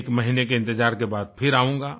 एक महीने के इंतजार के बाद फिर आऊंगा